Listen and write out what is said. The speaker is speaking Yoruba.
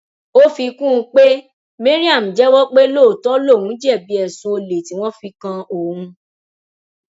ó fi kún un pé mariam jẹwọ pé lóòótọ lòun jẹbi ẹsùn olè tí wọn fi kan òun